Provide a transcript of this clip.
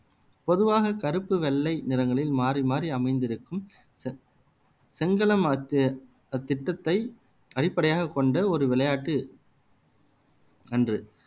பொதுவாக கருப்பு வெள்ளை நிறங்களில் மாறி மாறி அமைந்திருக்கும் செங்களம் அத்தி அத்திட்டத்தை அடிப்படையாகக் கொண்ட ஒரு விளையாட்டு அன்று